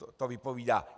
To vypovídá.